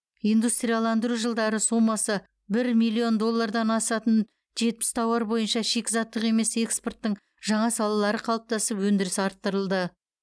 индустрияландыру жылдары сомасы бір миллион доллардан асатын жетпіс тауар бойынша шикізаттық емес экспорттың жаңа салалары қалыптасып өндірісі арттырылды